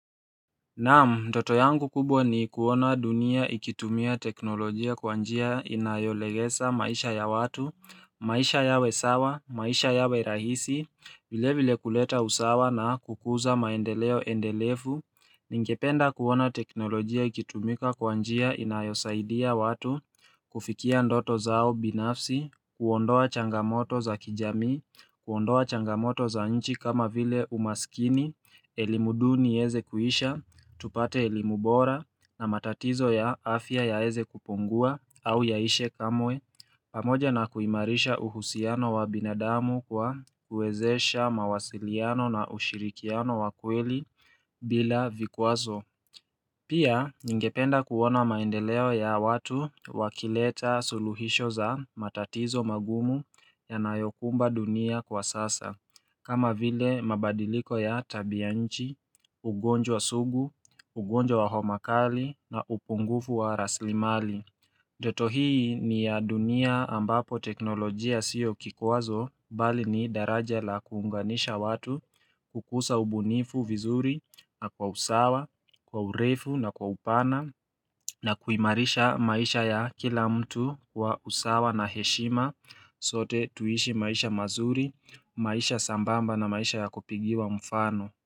Naam, ndoto yangu kubwa ni kuona dunia ikitumia teknolojia kwa njia inayolegesa maisha ya watu, maisha yawe sawa, maisha yawe rahisi, vile vile kuleta usawa na kukuza maendeleo endelefu, ningependa kuona teknolojia ikitumika kwa njia inayosaidia watu, kufikia ndoto zao binafsi, kuondoa changamoto za kijamii, kuondoa changamoto za nchi kama vile umasikini, elimu duni ieze kuisha, tupate elimu bora na matatizo ya afya yaeze kupungua au yaishe kamwe pamoja na kuimarisha uhusiano wa binadamu kwa kuwezesha mawasiliano na ushirikiano wa kweli bila vikwazo Pia ningependa kuona maendeleo ya watu wakileta suluhisho za matatizo magumu yanayokumba dunia kwa sasa kama vile mabadiliko ya tabianchi, ugonjwa sugu, ugonjwa wa homa kali na upungufu wa raslimali. Joto hii ni ya dunia ambapo teknolojia siyo kikwazo bali ni daraja la kuunganisha watu kukusa ubunifu vizuri na kwa usawa, kwa urefu na kwa upana na kuimarisha maisha ya kila mtu kwa usawa na heshima. Sote tuishi maisha mazuri, maisha sambamba na maisha ya kupigiwa mfano.